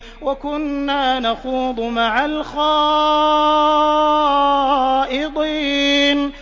وَكُنَّا نَخُوضُ مَعَ الْخَائِضِينَ